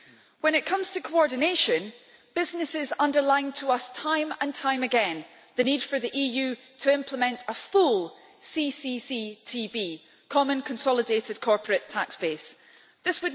When it comes to coordination, businesses underlined to us time and time again the need for the EU to implement a full Common Consolidated Corporate Tax Base This